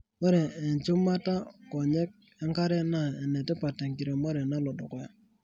Ore enchumata nkonyek enkare naa enetipat tenkiremore nalodukuya.